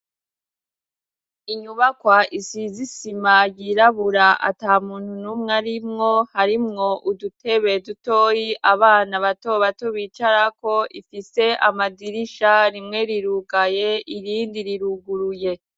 Inyubakwa isizisima yirabura ata muntu n'umwe arimwo harimwo udutebeye dutoyi abana batoba tubicarako ifise amadirisha rimwe rirugaye irindi riruguruye.